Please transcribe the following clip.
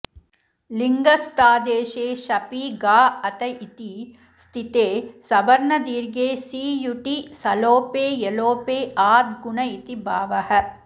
लिङस्तादेशे शपि गा अ त इति स्थिते सवर्णदीर्घे सीयुटि सलोपे यलोपे आद्गुण इति भावः